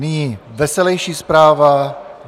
Nyní veselejší zpráva.